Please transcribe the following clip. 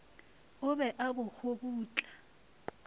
o be a bo kgobutla